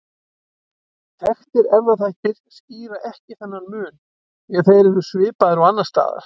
Þekktir erfðaþættir skýra ekki þennan mun því þeir eru svipaðir og annars staðar.